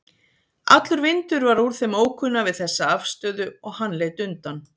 Allur vindur var úr þeim ókunna við þessa afstöðu og hann leit undan.